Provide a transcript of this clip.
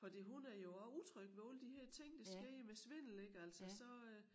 Fordi hun er jo også utryg ved alle de her ting der sker med svindel ik altså så øh